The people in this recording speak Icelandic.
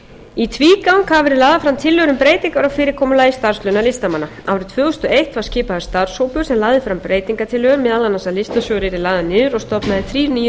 í tvígang hafa verið lagðar fram tillögur um breytingar á fyrirkomulagi starfslauna listamanna árið tvö þúsund og tvö var skipaður starfshópur sem lagði fram breytingartillögu meðal annars að listasjóður yrði lagður niður og stofnaðir þrír nýir